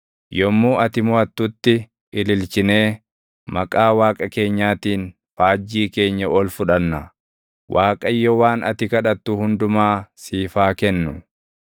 Yommuu ati moʼattutti ililchinee maqaa Waaqa keenyaatiin faajjii keenya ol fudhanna. Waaqayyo waan ati kadhattu hundumaa siif haa kennu.